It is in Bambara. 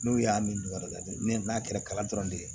N'u y'a min yɔrɔ lajɛ ne n'a kɛra kalan dɔrɔn de ye